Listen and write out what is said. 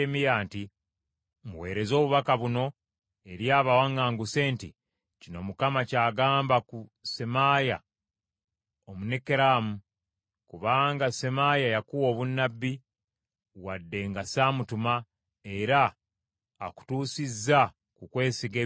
“Muweereze obubaka buno eri abawaŋŋanguse nti, ‘Kino Mukama ky’agamba ku Semaaya Omunekeramu. Kubanga Semaaya yakuwa obunnabbi, wadde nga ssamutuma, era akutuusizza ku kwesiga eby’obulimba,